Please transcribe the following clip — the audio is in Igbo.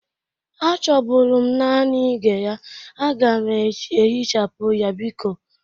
Achọbụrụ m nanị ige ya. Aga m ehichapụ ya biko.